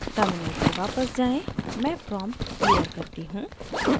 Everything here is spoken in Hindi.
terminal पर वापस जाएँ मैं prompt clear करती हूँ